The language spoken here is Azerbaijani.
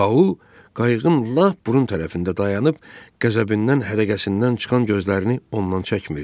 Tau qayığın lap burun tərəfində dayanıb qəzəbindən hədəqəsindən çıxan gözlərini ondan çəkmirdi.